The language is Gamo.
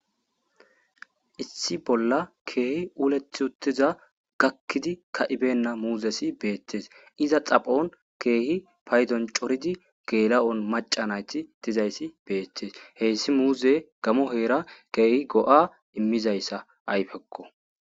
Issi bolla keehi uleti uttida gakkidi ka'i beyna muuzeti beetees. Iza xaphon keehidi paydon coriza macca nayti woyko geela'oti, beetetees. Hessi muuze gamo heeran keehi go'a immizaysa ayfeko.